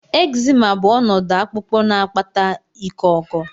Ekzima bụ ọnọdụ akpụkpọ na-akpata iko oko.